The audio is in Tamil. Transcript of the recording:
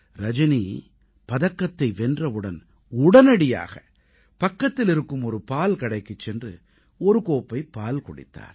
ரஜனி பதக்கத்தை வென்றவுடன் உடனடியாக பக்கத்தில் இருக்கும் ஒரு பால் கடைக்குச் சென்று ஒரு கோப்பை பால் குடித்தார்